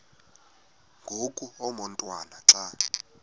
ngoku umotwana xa